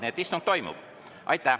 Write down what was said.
Nii et istung toimub.